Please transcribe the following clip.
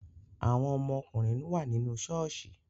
Àwọn ọmọ ọkùnrin wà nínú ṣọ́ọ̀ṣì